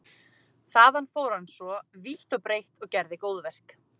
Þaðan fór hann svo vítt og breitt og gerði góðverk.